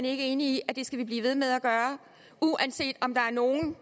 ikke enig i at det skal vi blive ved med at gøre uanset om der er nogle